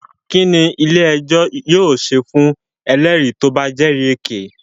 Kínní ilé ẹjọ́ yóò ṣe fún ẹlẹ́rìí tí o bá jẹ́rì èké?